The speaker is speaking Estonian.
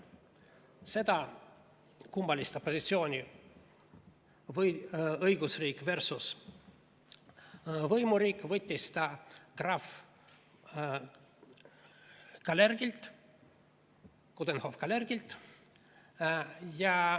Selle kummalise opositsiooni õigusriik versus võimuriik võttis ta krahv Coudenhove-Kalergilt.